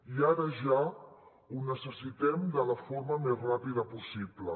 i ara ja ho necessitem de la forma més ràpida possible